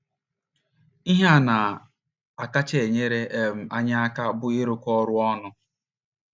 Ihe na - akacha enyere um anyị aka bụ ịrụkọ ọrụ ọnụ.